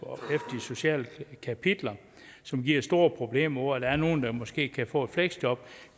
sociale kapitler som giver store problemer der er nogle der måske kan få et fleksjob